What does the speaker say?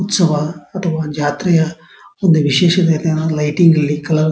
ಉತ್ಸವ ಅಥವಾ ಜಾತ್ರೆಯ ಒಂದು ವಿಶೇಷತೆ ಅನ್ನೋದು ಲೈಟಿಂಗ್ ಅಲ್ಲಿ ಕಲರ್ --